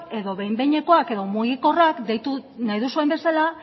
edo behin behinekoak edo mugikorrak deitu nahi duzuen bezala